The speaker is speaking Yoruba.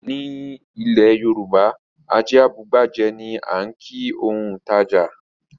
Ní ilẹ̀ Yorùbá "ajé a bu igbá jẹ" ni á ń kìí òun tàjà.